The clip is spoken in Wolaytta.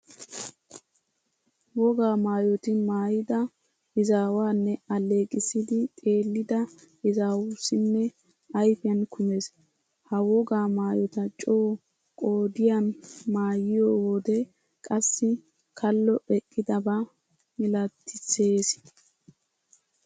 Wogaa maayoti maayida izaawanne alleeqissidi xeellida izaawussinne ayfiyan kumees. Ha wogaa maayota coo qodiyan maayiyo wode qassi kallo eqqidaba milatissees.